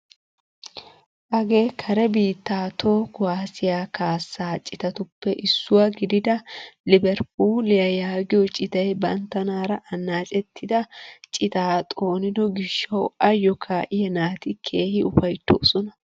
Hagee kare biittaa toho kuwaasiyaa kaassaa citatuppe issuwaa gidida Liberpuuliyaa gaagiyoo citay banttanaara annacetida citaa xoonido giishshawu ayoo ka'iyaa naati keehi ufayttoosona!